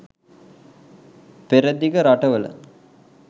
පෙරදිග රටවල